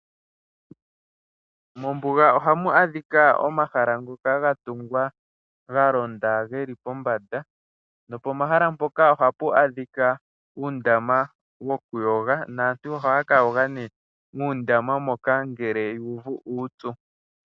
Mombuga ohamu adhika omahala ngoka gatungwa galonda geli pombanda. Nopomahala mpoka ohapu adhika uundama wokuyoga naantu ohaya kayoga nee muundama moka ngele yu uvu uupyu.